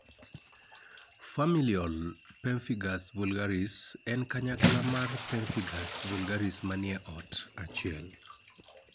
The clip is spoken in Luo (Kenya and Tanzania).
Familial pemphigus vulgaris en kanyakla mar pemphigus vulgaris manie ot achiel